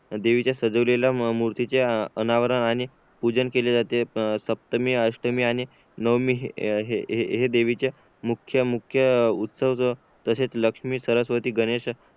देवीचे सजलेल्या मूर्तीचे अनावरण आणि पूजन केले जाते सप्तमी अष्टमी आणि नवमी हे देवीचे मुख्य मुख्य उत्सव जो तशेच लक्ष्मी सरस्वती गणेश